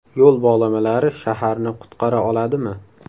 Yo‘l bog‘lamalari shaharni qutqara oladimi?.